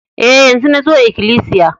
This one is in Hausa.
E, yanzo nazo ikilisiya.